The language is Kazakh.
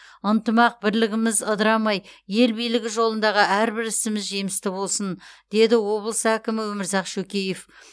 ынтымақ бірлігіміз ыдырамай ел игілігі жолындағы әрбір ісіміз жемісті болсын деді облыс әкімі өмірзақ шөкеев